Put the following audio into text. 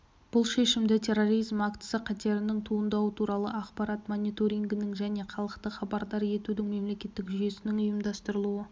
бұл шешімді терроризм актісі қатерінің туындауы туралы ақпарат мониторингінің және халықты хабардар етудің мемлекеттік жүйесінің ұйымдастырылуы